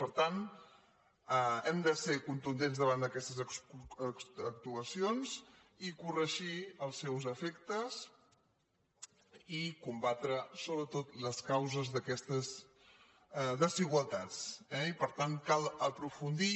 per tant hem de ser contundents da·vant d’aquestes actuacions i corregir els seus efectes i combatre sobretot les causes d’aquestes desigualtats eh i per tant cal aprofundir